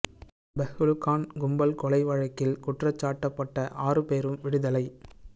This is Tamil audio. பெஹ்லு கான் கும்பல் கொலை வழக்கில் குற்றஞ்சாட்டப்பட்ட ஆறு பேரும் விடுதலை